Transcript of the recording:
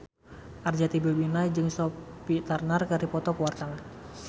Arzetti Bilbina jeung Sophie Turner keur dipoto ku wartawan